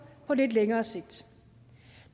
på lidt længere sigt